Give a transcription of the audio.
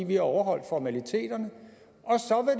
vi har overholdt formaliteterne